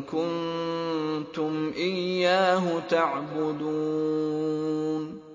كُنتُمْ إِيَّاهُ تَعْبُدُونَ